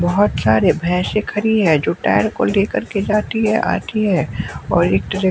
बहुत सारे भैंसे खड़ी हैं जो टायर को लेकर के जाती हैं आती हैं और एक तरह--